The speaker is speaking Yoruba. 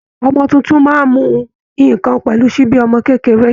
Ọmọ tuntun máa ń mu nǹkan pẹ̀lú ṣíbí ọmọ kékeré